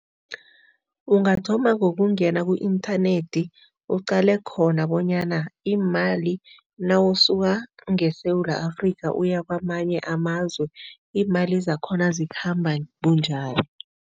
Ungathoma ngokungena ku-inthanethi, uqale khona bonyana iimali nawusuka ngeSewula Afrika uya kwamanye amazwe, iimali zakhona zikhamba bunjani.